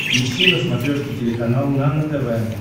ищи на смотрешке телеканал нано тв